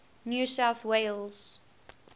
new south wales